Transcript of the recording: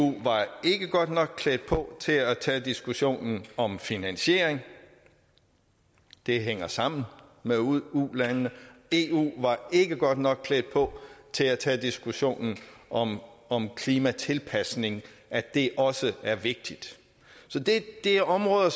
var ikke godt nok klædt på til at tage diskussionen om finansiering det hænger sammen med ulandene eu var ikke godt nok klædt på til at tage diskussionen om om klimatilpasning at det også er vigtigt det er områder